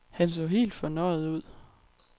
Han så helt fornøjet ud.